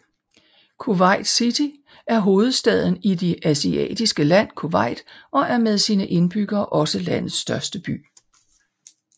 Kuwait City er hovedstaden i det asiatiske land Kuwait og er med sine indbyggere også landets største by